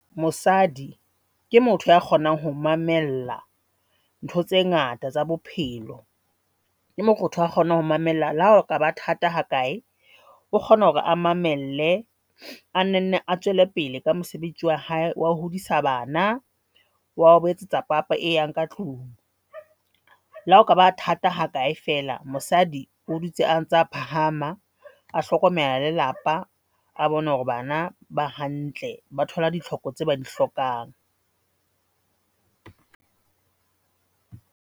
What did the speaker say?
Mosadi ke motho ya kgonang ho mamella ntho tse ngata tsa bophelo ke motho a kgonang ho mamella le ha o kaba thata ha kae, o kgona hore a mamelle a tswele pele ka mosebetsi wa hae wa ho hodisa bana. Wa ho ba etsetsa papa e yang ka tlung. Le hao kaba thata ha kae fela mosadi o dutse a ntsa phahama, a hlokomela lelapa, a bone hore bana ba hantle, ba thola ditlhoko tse ba di hlokang.